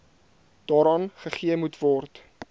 daaraan gegee moetword